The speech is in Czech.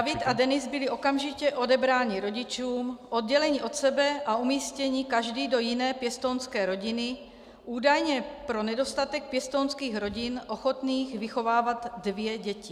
David a Denis byli okamžitě odebráni rodičům, odděleni od sebe a umístěni každý do jiné pěstounské rodiny, údajně pro nedostatek pěstounských rodin ochotných vychovávat dvě děti.